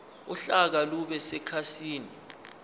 uhlaka lube sekhasini